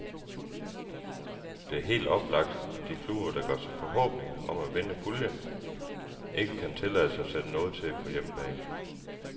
Det er helt oplagt, at de klubber, der gør sig forhåbninger om at vinde puljen, ikke kan tillade sig at sætte noget til på hjemmebane.